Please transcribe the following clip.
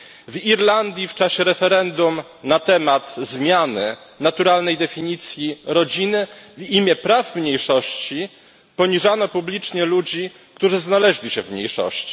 W Irlandii w czasie referendum na temat zmiany naturalnej definicji rodziny w imię praw mniejszości poniżano publicznie ludzi, którzy znaleźli się w mniejszości.